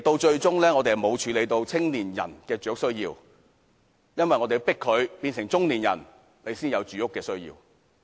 最終，我們並沒有解決青年人的住屋需要，而是待他們變成中年人才解決他們的住屋需要。